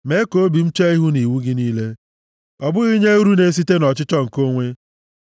Mee ka obi m chee ihu nʼiwu gị niile ọ bụghị nye uru na-esite nʼọchịchọ nke onwe.